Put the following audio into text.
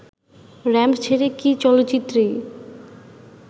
ramp ছেড়ে কি চলচ্চিত্রেই